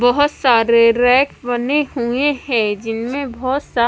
बहुत सारे रैक बने हुए हैं जिनमें बहुत स--